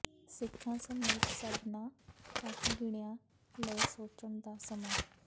ਸਿੱਖਾਂ ਸਮੇਤ ਸਭਨਾਂ ਘੱਟ ਗਿਣੀਆਂ ਲਈ ਸੋਚਣ ਦਾ ਸਮਾਂ